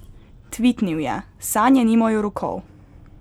Tvitnil je: "Sanje nimajo rokov.